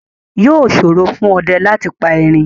Yóò ṣòro fún ọdẹ láti pa Erin